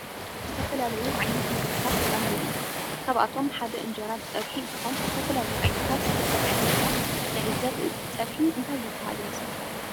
ዝተፈላለዩ ዓይነት ምግብታት አለዎ ካብአቶም ሓደ እንጀራ ብፅብሒ እንትኮን ዝተፈላለዩ ዓይነታት ዝትፀብሐ እንጀራ ንዕዘብ እዚ ፀብሒ እንታይ ይበሃል ይመስለኩም ?